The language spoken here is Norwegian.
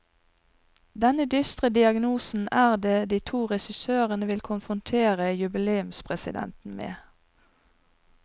Denne dystre diagnosen er det de to regissørene vil konfrontere jubileumspresidenten med.